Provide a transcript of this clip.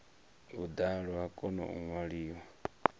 vhuḓalo ha kona u ṅwaliwa